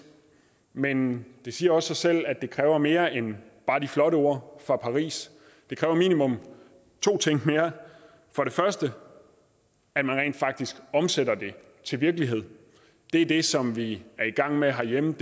men det siger også sig selv at det kræver mere end bare de flotte ord fra paris det kræver minimum to ting mere for det første at man rent faktisk omsætter det til virkelighed det er det som vi er i gang med herhjemme